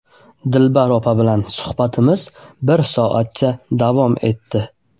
Dilbar opa bilan suhbatimiz bir soatcha davom etdi.